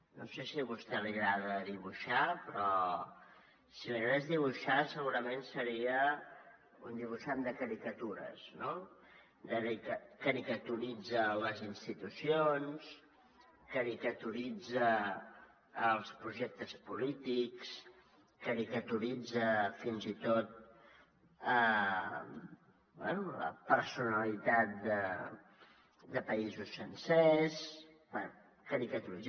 no sé si a vostè li agrada dibuixar però si li agradés dibuixar segurament seria un dibuixant de caricatures no caricaturitza les institucions caricaturitza els projectes polítics caricaturitza fins i tot la personalitat de països sencers bé caricaturitza